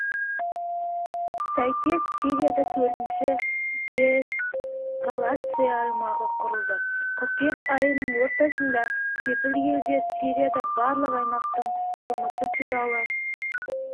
сәйкес сирияда төртінші деэскалация аймағы құрылды қыркүйек айының ортасында кепіл-елдер сирияда барлық аймақтың жұмысы туралы